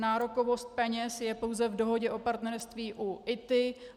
Nárokovost peněz je pouze v dohodě o partnerství u ITI.